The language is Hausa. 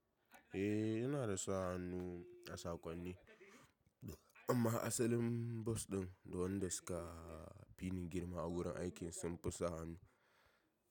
Eh, yana da sa hannu a saƙonni, amma asalin boss ɗin da wanda suka fi ni girma a wurin aiki sun fi sa hannu.